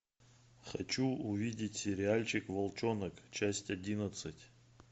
хочу увидеть сериальчик волчонок часть одиннадцать